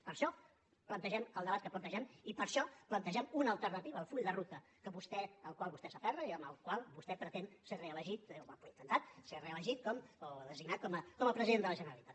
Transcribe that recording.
per això plantegem el debat que plantegem i per això plantegem una alternativa al full de ruta al qual vostè s’aferra i amb el qual vostè pretén ser reelegit o ha intentat ser reelegit o designat com a president de la generalitat